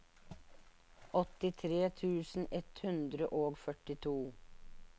åttitre tusen ett hundre og førtito